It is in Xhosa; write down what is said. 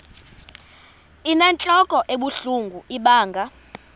inentlok ebuhlungu ibanga